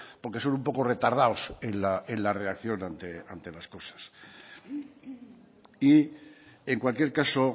porque son un poco retardados en la reacción ante las cosas y en cualquier caso